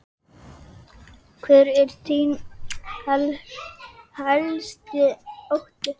Hver er þinn helsti ótti?